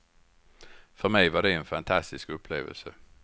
För mig var det en fantastisk upplevelse.